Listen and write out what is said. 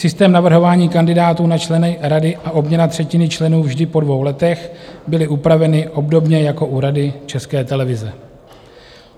Systém navrhování kandidátů na členy rady a obměna třetiny členů vždy po dvou letech byly upraveny obdobně jako u Rady České televize.